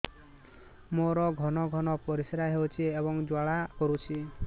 ମୋର ଘନ ଘନ ପରିଶ୍ରା ହେଉଛି ଏବଂ ଜ୍ୱାଳା କରୁଛି